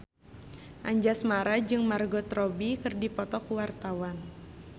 Anjasmara jeung Margot Robbie keur dipoto ku wartawan